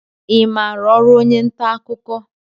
I maara ọrụ onye nta akụkọ?